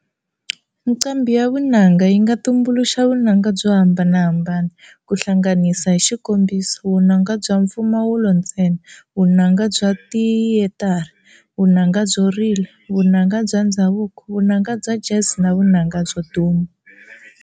Nqambhi ya vunanga yi nga tumbuluxa vunanga byo hambanahambana, ku hlanganisa hi xikombiso, vunanga bya mpfumawulo ntsena, vunanga bya tiyetara, vunanga byo rila, vunanga bya ndzhavuko, vunanga bya Jazz na vunanga byo duma.